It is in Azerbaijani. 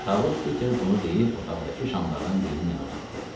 Tabut Piter bunu deyib otaqdakı şamlardan birini mənə uzatdı.